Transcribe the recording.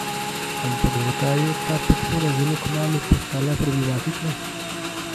Ampak zakaj je ta podpora zelo kmalu postala problematična?